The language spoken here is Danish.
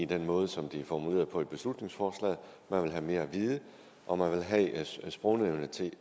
den måde som det er formuleret på i beslutningsforslaget man vil have mere at vide og man vil have sprognævnet til